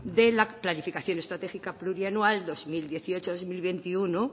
de la planificación estratégica plurianual dos mil dieciocho dos mil veintiuno